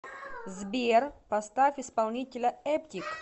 сбер поставь исполнителя эптик